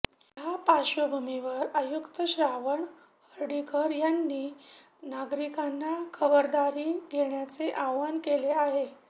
या पार्श्वभूमीवर आयुक्त श्रावण हर्डीकर यांनी नागरिकांना खबरदारी घेण्याचे आवाहन केले आहे